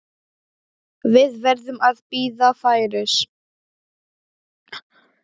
Við verðum að bíða færis.